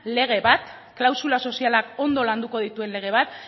lege bat klausula sozialak ondo landuko dituen lege bat